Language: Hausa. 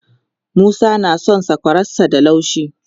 Musa na son sakwararsa da laushi.